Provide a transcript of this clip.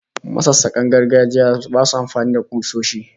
Masassakan gargajiya basu amfani da kusoshi